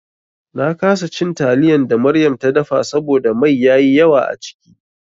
Na kasa cin taliyan da Maryam ta dafa saboda mai yayi yawa a ciki.